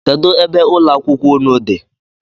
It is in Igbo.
Kedụ ebe ụlọakwụkwọ unu dị?